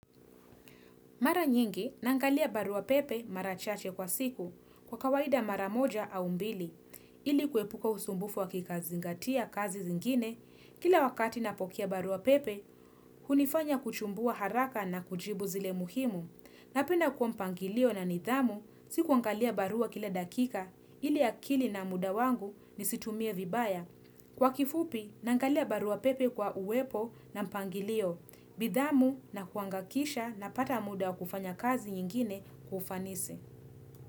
Mara nyingi, naangalia barua pepe mara chache kwa siku kwa kawaida mara moja au mbili, ili kuepuka usumbufu wa kikazingatia kazi zingine, kila wakati napokea barua pepe, hunifanya kuchumbua haraka na kujibu zile muhimu. Napenda kuwa mpangilio na nidhamu, sikuangalia barua kila dakika, ili akili na muda wangu ni situmie vibaya. Kwa kifupi, nangalia barua pepe kwa uwepo na mpangilio, bidhamu na kuangakisha na pata muda kufanya kazi nyingine kwa ufanisi.